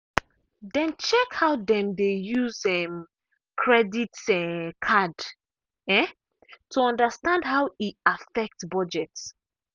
dem check how dem dey use um credit um card um to understand how e affect budget.